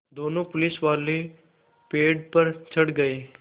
दोनों पुलिसवाले पेड़ पर चढ़ गए